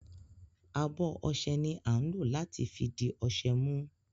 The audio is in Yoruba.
Abo ọṣẹ ni a ń lo lati fi di ọṣẹ mu.